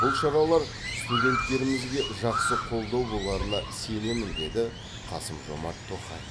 бұл шаралар студенттерімізге жақсы қолдау боларына сенемін деді қасым жомарт тоқаев